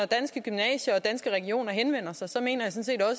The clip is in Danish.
danske gymnasier og danske regioner henvender sig sig mener